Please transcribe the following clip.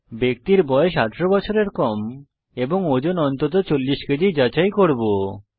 ব্যক্তির বয়স 18 বছরের কম এবং ওজন অন্তত 40 কেজি যাচাই করব